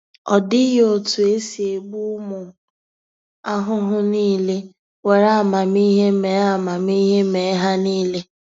Ọ dịghị otu esi egbu umu ahụhụ nile; were amamihe mee amamihe mee ha nile.